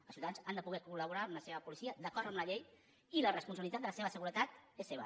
els ciutadans han de poder colseva policia d’acord amb la llei i la responsabilitat de la seva seguretat és seva